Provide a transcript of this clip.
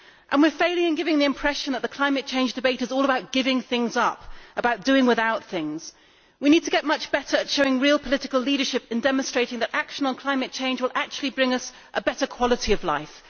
We are failing in giving the impression that the climate change debate is all about giving things up, about doing without things. We need to get much better at showing real political leadership and demonstrating that action on climate change will bring us a better quality of life.